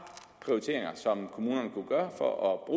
prioriteringer som kommunerne kunne gøre for at